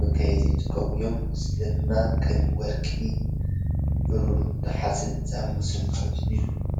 መጋየፂ ይጥቀሙ እዮም፡፡ እዚ ድማ ከም ወርቂ፣ ቡሩር ናይ ሓፂን ዝኣምሰሉ ካልኦትን እዮም፡፡